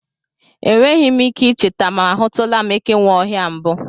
E nweghị ike ị cheta ma a hụtụla m ekenweohia mbụ.